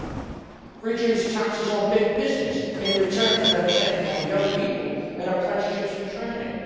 We should reduce taxes on big business in return for them taking on young people in apprenticeships and training.